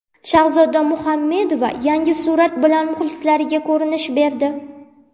Shahzoda Muhammedova yangi surat bilan muxlislariga ko‘rinish berdi.